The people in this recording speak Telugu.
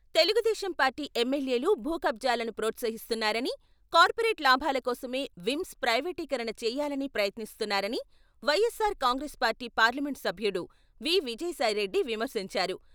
తెలుగుదేశం పార్టీ ఎమ్మెల్యేలు భూకబ్జాలను ప్రోత్సహిస్తున్నారని, కార్పొరేట్ లాభాల కోసమే విమ్స్ ప్రైవేటీకరణ చేయాలని ప్రయత్నిస్తున్నారని వైఎస్సార్ కాంగ్రెస్ పార్టీ పార్లమెంట్ సభ్యుడు వి. విజయసాయి రెడ్డి విమర్శించారు.